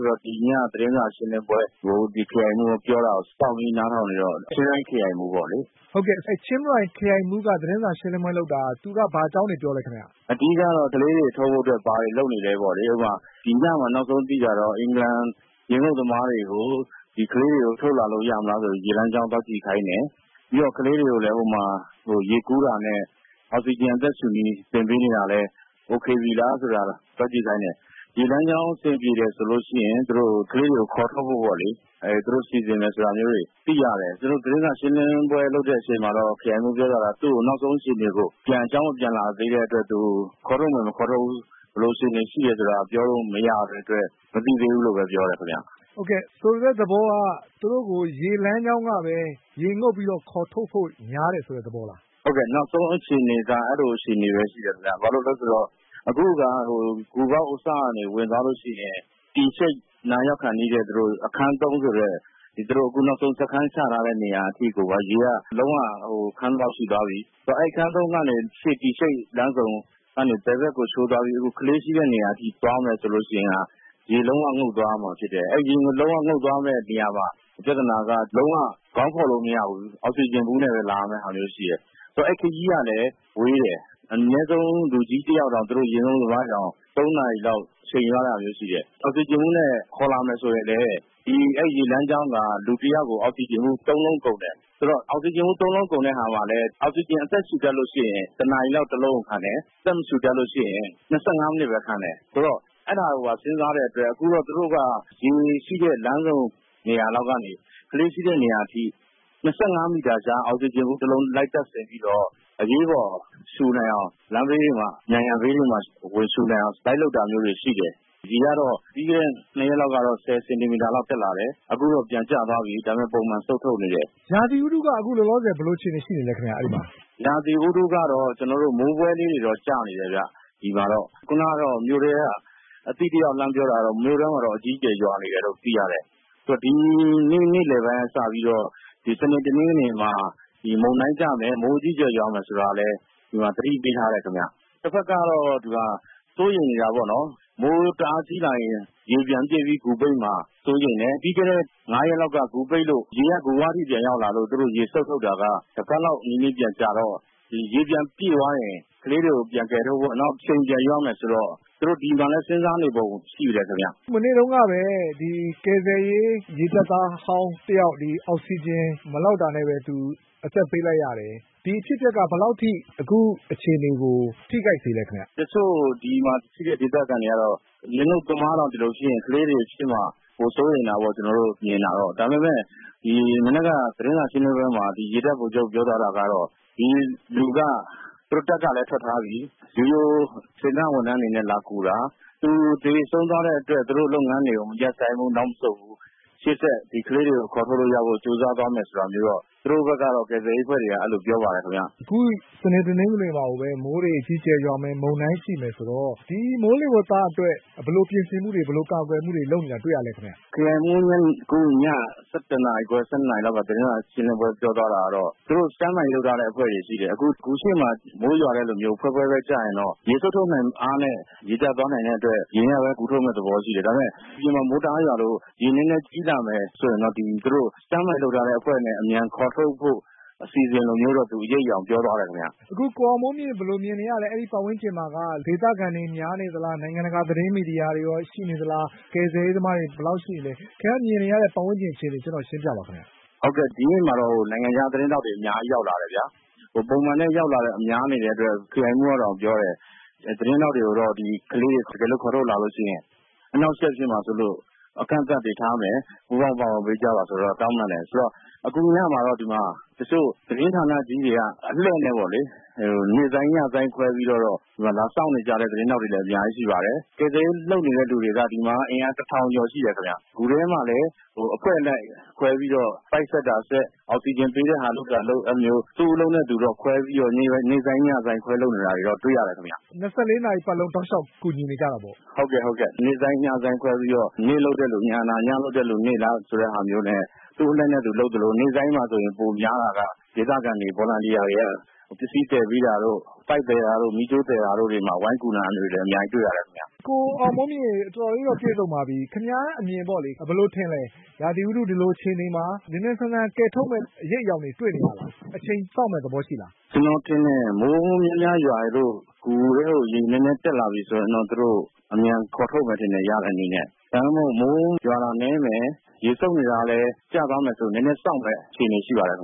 ဆိုတော့ ဒီည သတင်းစာ ရှင်းလင်း ပွဲကို ဒီခရိုင်မှူး ပြောတာကို စောင့်ပြီးနားထောင်နေတာပါ။ ချင်းရိုင်ခရိုင်မှူးပေါ့လေ။ သူက ဘာအကြောင်းတွေပြောလဲခင်ဗျ။ အဓိက ပြောသွားကတော့ ကလေးတွေကို ထုတ်ဖို့အတွက် ဘာတွေလုပ်နေ သလဲ ပေါ့လေ။ ဥပမာ ဒီညမှာ နောက်ဆုံးသိတာတော့ အင်္ဂလန်ရေငုပ်သမားတွေကို ကလေးတွေကို ထုတ်လာလို့ ရမလား ဆိုပြီး ရေလမ်းကြောင်း သွားကြည့်ခိုင်းတယ်။ ပြီးတော့ကလေးတွေကိုလည်း ဟိုမှာ ရေကူး တာနဲ့ အောက်စီဂျင် အသက်ရှူနည်း သင်ပေး နေတာလည်း အဆင်ပြေပြီလားဆိုတာ သွားကြည့်ခိုင်းတယ်။ ရေလမ်းကြောင်း အဆင်ပြေ တယ်ဆိုရင် ကလေးတွေကိုခေါ်ထုတ်ဖို့ပေါ့လေ- သူတို့ စီစဉ်မယ်ဆိုတာမျိုးကို သိရတယ်။ သတင်းစာရှင်းလင်းပွဲ လုပ်တဲ့အချိန်မှာတော့ ခရိုင်မှူး ပြောသွားတာက သူ့ကိုနောက်ဆုံး အခြေအနေကို သူတို့အကြောင်း ပြန်မလာသေးတဲ့အတွက်ခေါ်ထုတ်မယ် မထုတ်ဘူး ဆိုတာ ပြောလို့မရတဲ့အတွက် မသိသေးဘူးလို့ပြောတယ်ခင်ဗျ။ ဟုတ်ကဲ့၊ ဆိုလိုတဲ့ သဘောက သူတို့ကိုရေလမ်းကြောင်းကပဲ ရေငုပ်ပြီးတော့ ခေါ်ထုတ်ဖို့များတယ်ဆိုတဲ့သဘောလားခင်ဗျ။ ဟုတ်ကဲ့။ နောက်ဆုံးအခြေအနေက အဲလိုပဲရှိတယ်ဗျ။ ဘာလို့လဲဆိုတော့ အခုက ဂူ ပေါက်အစကနေ ဝင်သွားလို့ရှိရင် T Shaped နားရောက်ခါနီးတဲ့ အခန်း ၃ ဆိုတဲ့ အခု သူတို့ စခန်းချထားတဲ့နေရာအထိကို ရေကလုံးဝခမ်းသလောက်ရှိသွားပြီ။ ဆိုတော့ အဲဒီ အခန်း ၃ ကနေ ရှေ့ T Shaped လမ်းစုံကနေ ဘယ်ဘက်ကိုချိုးသွားပြီး အခုကလေးတွေ ရှိတဲ့နေရာအထိသွား မယ်ဆိုလို့ရှိရင် ရေလုံးဝ ငုပ်သွားရမှာဖြစ်တယ်။ အဲဒီနေရာမှာ ပြဿနာက လုံးဝခေါင်းဖေါ်လို့မရဘူး။ အောက်စီဂျင်ဗူးနဲ့ လာရမယ့်ဟာမျိုး ရှိတယ်။ အဲဒီ ခရီးကလည်း ဝေးတယ်။ အနည်းဆုံး လူကြီး တယောက်တောင် သူတို့ ရေငုပ်သမား တွေတောင် သုံးနာရီလောက်အချိန်ယူရတာမျိုးရှိတယ်။ အောက်စီဂျင်ဘူးနဲ့ခေါ်လာမယ် ဆိုရင်လည်း ဒီရေလမ်းကြောင်းက လူတယောက်ကို အောက်စီဂျင်ဘူး ၃ လုံးကုန်တယ်။ အဲဒီ နေရာမှာ လည်း အောက်စီဂျင်နဲ့ အသက်ရှူ တတ်ရင် တလုံးကို တနာရီလောက် ခံတယ်။ အသက်မရှူတတ်ရင် ၂၅ မိနစ်ပဲခံတယ်။… ဆိုတော့ အဲဒါကိုပါ စဉ်းစားတဲ့အတွက် သူတို့က ရေရှိတဲ့လမ်းဆုံနေရာလောက်ကနေ ကလေးရှိတဲ့ နေရာ အထိ ၂၅ မီတာခြား အောက်စီဂျင်ဘူးတွေ လိုက်တပ်ပြီးတော့ အရေးပေါ် ရှူနိုင်အောင် လမ်းဘေး တွေမှာ၊ နံရံဘေးတွေမှာ ဝင်ရှူနိုင်အောင် လိုက်လုပ် တာမျိုးတွေ ရှိတယ်။ ရေက ပြီးခဲ့တဲ့ ၂ ရက်လောက် က ၁၀ စင်တီမီတာလောက် တက်လာတယ်။ အခုတော့ပြန်ကျသွားပြီ ဒါပေမယ့် ပုံမှန်စုတ်ထုတ်နေတယ်။ ရာသီဥတုက အခုလောလောဆယ် ဘယ်လိုအခြေအနေရှိနေသလဲ ခင်ဗျ အဲဒီမှာ။ မိုးဖွဲလေးတွေတော့ ကျနေတယ်ခင်ဗျ ဒီမှာတော့။ ခုနက မြို့ထဲက အသိတယောက် ဖုန်းဆက် ပြီး လှမ်းပြောတာတော့ - မြို့ထဲမှာ မိုးအကြီးအကျယ်ရွာနေတယ်လို့သိရတယ်။ ဒီနေ့ နေ့လည် ပိုင်း ကစပြီးတော့ စနေ တနင်္ဂနွေမှာ မုန်တိုင်းကျမယ်၊ မိုး အကြီးအကျယ် ရွာမယ် ဆိုတာလည်း ဒီမှာ သတိပေးထားတယ်ခင်ဗျ။ တဘက်ကတော့ စိုးရိမ်နေ တာပေါ့ နော်။ မိုး တအား ကြီးလာရင် ရေပြန်ပြည့် ပြီး ဂူပိတ်မှာ စိုးရိမ်တယ်။ ပြီးခဲ့တဲ့ ငါးရက် လောက် က ဂူပိတ်လို့၊ ရေက ဂူဝအထိ ပြန်ရောက် လာလို့ သူတို့ ရေစုတ်ထုတ်တာက တပတ်လောက်နီးနီးပြန်ကြာတော့ ရေပြန်ပြည့်သွားရင် ကလေးတွေကို ပြန် ကယ်ထုတ်ဖို့ အချိန်ပြန်ယူရမယ်ဆိုတော့ သူတို့ဒါကိုလည်းစဉ်းစားနေပုံရှိတယ်ခင်ဗျ။ မနေ့တုန်းကပဲ ကယ်ဆယ်ရေး ရေတပ်သားဟောင်းတဦး အောက်စီဂျင် မလောက် တာနဲ့ပဲ အသက်ပေးလိုက်ရတယ်။ ဒီအဖြစ်အပျက်က ဘယ်လောက်အထိ အခုအခြေ အနေကို ထိခိုက်စေလဲ ခင်ဗျ။ တချို့ ဒီမှာရှိတဲ့ ဒေသခံတွေကတော့ ရေငုပ်သမားတောင် ဒီလိုဖြစ်ရင် ကလေးတွေ ဖြစ်မှာ ပို စိုးရိမ်တာပေါ့။ ကျနော်တို့မြင်တာတော့။ ဒါပေမဲ့ ဒီမနက်က သတင်းစာရှင်းလင်း ပွဲမှာ ရေတပ်ဗိုလ်ချုပ် ပြောသွားတာကတော့ ဒီလူက သူတို့တပ်ကပဲထွက်ထားပြီး ဒီလို စေတနာ့ ဝန်ထမ်းအနေနဲ့ လာကူ တာ။ သူသေဆုံးသွားတဲ့အတွက် သူတို့လုပ်ငန်းတွေကို ရပ်မဆိုင်းဘူး၊ နောက်မဆုတ်ဘူး။ ဒီကလေး တွေကို ခေါ်ထုတ်လို့ရအောင် ရှေ့ဆက် ကြိုးစားသွားမယ်ဆိုတာမျိုးတော့ သူတို့ဘက်ကတော့ ကယ်ဆယ်ရေးအဖွဲ့တွေက ပြောပါတယ်။ ခုစနေ၊ တနင်္ဂနွေမှာကိုပဲ မိုးတွေအကြီးအကျယ်ရွာမယ် မုန်တိုင်းရှိမယ်ဆိုတော့ ဒီမိုးလေဝသအတွက် ဘယ်လိုပြင်ဆင်မူတွေ ဘယ်လိုကာကွယ်မူတွေ လုပ်နေတာ တွေ့ရသလဲခင်ဗျ။ “ခရိုင်မှူး ခုည ၁၁ နာရီခွဲ ၁၂ နာရီလောက်က သတင်းစာရှင်းလင်းပွဲမှာ ပြောသွား တာက တော့ သူတို့ stand-by လုပ်ထားတဲ့အဖွဲ့တွေရှိတယ်။ အခု ဂူရှေ့မှာ မိုးရွာသလိုမျိုး ဖွဲဖွဲပဲကျရင်တော့ ရေစုတ် ထုတ်နိုင်တဲ့အားနဲ့ ရေကျသွားနိုင်တဲ့အတွက် ဒီညပဲ အကုန် ထုတ်မယ့် သဘောရှိတယ်။ ဒါပေမယ့် အပြင်မှာ မိုးတအားရွာလို့ ရေနည်းနည်းကြီး လာ မယ် ဆိုရင်တော့ သူတို့ Stand-by လုပ်ထားတဲ့ အဖွဲ့နဲ့ အမြန်ခေါ်ထုတ်ဖို့ အစီအစဉ်လို မျိုးတော့ အရိပ်အယောင် ပြောသွားတယ်ခင်ဗျ။ အခု ကိုအောင်မိုးမြင့် ဘယ်လိုမြင်နေရလဲ၊ ပတ်ဝန်းကျင်မှာက ဒေသခံတွေများနေ သလား၊ နိုင်ငံတကာ သတင်းမီဒီယာတွေရောရှိနေသလား၊ ကယ်ဆယ်ရေးသမားတွေ ဘယ်လောက်ရှိနေလဲ၊ ခင်ဗျား မြင်နေရတဲ့ ပတ်ဝန်းကျင်အခြေအနေ ကျနော့်ကို ရှင်းပြပါလား။ ဟုတ်ကဲ့။ ဒီနေ့မှာတော့ နိုင်ငံခြားသတင်းထောက်တွေ အများကြီးရောက်လာတယ် ဗျ။ ပုံမှန်တိုင်း ရောက်တာထက် များနေတဲ့အတွက် ခရိုင်မှူးကတောင် ပြောတယ်။ သတင်း ထောက်တွေကိုတော့ ဒီကလေးတွေကို ခေါ်ထုတ်လာလို့ ရှိရင် အနှောင့်အယှက် ဖြစ်မှာ စိုးလို့ အကန့်အသတ်တွေထားမယ်၊ ပူးပေါင်းပါဝင်ပေးကြပါလို့ တောင်းပန်တယ်။ ပြီးတော့ အခုညမှာတော့ ဒီမှာ တချို့ သတင်းဌာနကြီးတွေက အလှည့်နဲ့ပေါလေ- နေ့ဆိုင်း၊ ညဆိုင်း ခွဲပြီး လာစောင့်နေကြတဲ့ သတင်းထောက်တွေလည်း အများကြီးရှိပါတယ်။ ကယ်ဆယ်ရေး လုပ်နေတဲ့သူတွေက အင်အား ၁,၀၀၀ ကျော်ရှိတယ်ခင်ဗျ။ ဂူထဲမှာလည်း အဖွဲ့လိုက်ခွဲပြီး ပိုက်ဆက်တာဆက်၊ အောက်စီဂျင် ပေးတဲ့ဟာ လုပ်တာလုပ်၊ အဲလိုမျိုး သူ့အလုပ်နဲ့သူတော့ ခွဲပြီး နေ့ဆိုင်း၊ ညဆိုင်းခွဲလုပ်နေတာတွေတော့ တွေ့ရတယ်ခင်ဗျ။ ၂၄ နာရီပတ်လုံး တောက်လျှောက် ကူညီနေကြတာပေါ့။ ဟုတ်ကဲ့၊ နေ့ဆိုင်း၊ ညဆိုင်းခွဲပြီးတော့ နေ့လုပ်တဲ့သူ ညနား၊ ညလုပ်တဲ့သူ နေ့နားနဲ့ သူ့အလှည့်နဲ့သူလုပ်သလို နေ့ဆိုင်းမှာဆို ပိုများတာက ဒေသခံတွေ၊ ဗော်လံတီယာတွေက ပစ္စည်းသယ်ပေးတာတို့၊ ပိုက်သယ်တာတို့၊ မီးကြိုးသယ်တာတို့တွေမှာ ဝိုင်းကူတာတွေ လည်း အများကြီးပဲ တွေ့ရတယ်ခင်ဗျ။ ကိုအောင်မိုးမြင့်ရေ၊ ပြည့်တော့ပြည့်စုံပါပြီ။ ခင်ဗျားအမြင်မှာပေါ့လေ- ဒီလိုရာသီ ဥတု အခြေအနေမှာ မြန်မြန်ဆန်ဆန် ကယ်ထုတ်နိုင်မယ့်အရိပ်အယောင်တွေ တွေ့နေရ လား၊ ဘယ်လိုထင်လဲ။ အချိန်စောင့်မယ့်သဘောရှိလား။ ကျနော်ထင်တယ်၊ မိုးများများရွာလို့ ဂူထဲကို ရေနည်းနည်းတက်လာပြီဆိုရင်တော့ သူတို့ ရတဲ့နည်းနဲ့ အမြန်ခေါ်ထုတ်မယ်ထင်တယ်။ ဒါမှမဟုတ် မိုးရွာတာနည်းမယ်၊ ရေစုတ်နေတာကလည်းကျသွားမယ်ဆိုရင် နည်းနည်းစောင့်မယ့် အခြေအနေ ရှိပါတယ် ခ